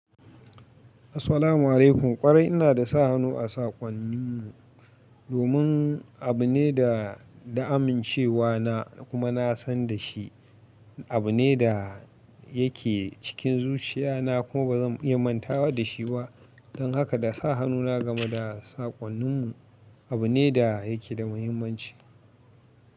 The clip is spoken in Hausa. Assalamu alaikum. Ƙwarai ina da sa hannu a saƙonnin mu. Domin abu ne da, da amincewa na kuma na san da shi. Abu ne da yake cikin zuciya na kuma ba zan iya mantawa da shi ba. Don haka da sa hannu na game da saƙonnin mu. Abu ne da yake da muhimmanci.